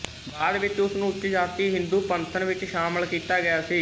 ਬਾਅਦ ਵਿੱਚ ਉਸ ਨੂੰ ਉੱਚ ਜਾਤੀ ਹਿੰਦੂ ਪੰਥਨ ਵਿੱਚ ਸ਼ਾਮਲ ਕੀਤਾ ਗਿਆ ਸੀ